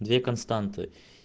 две константы